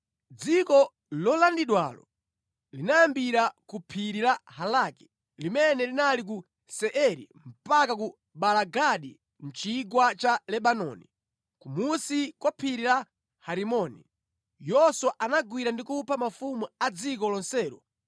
Dziko lolandidwalo linayambira ku phiri la Halaki limene linali ku Seiri mpaka ku Baala-Gadi mʼchigwa cha Lebanoni, kumunsi kwa phiri la Herimoni. Yoswa anagwira ndi kupha mafumu a dziko lonselo